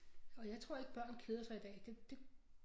Og jeg tror ikke børn keder sig i dag det det